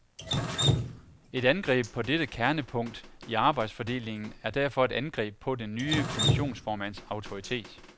Et angreb på dette kernepunkt i arbejdsfordelingen er derfor et angreb på den nye kommissionsformands autoritet.